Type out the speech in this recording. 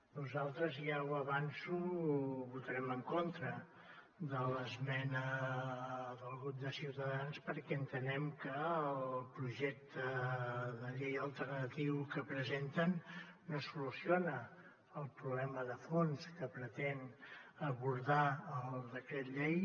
nosaltres ja ho avanço votarem en contra de l’esmena del grup de ciutadans perquè entenem que el projecte de llei alternatiu que presenten no soluciona el problema de fons que pretén abordar el decret llei